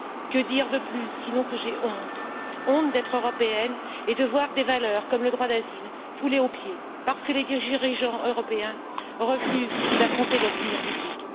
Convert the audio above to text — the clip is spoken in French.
Que dire de plus sinon que j'ai honte, honte d'être Européenne, et de voir des valeurs telles que le droit d'asile foulées aux pieds parce que les dirigeants européens refusent d'affronter l'opinion publique.